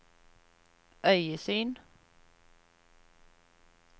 øyesyn